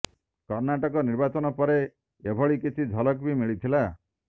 କର୍ଣ୍ଣାଟକ ନିର୍ବାଚନ ପରେ ଏଭଳି କିଛି ଝଲକ ବି ମିଳିଥିଲା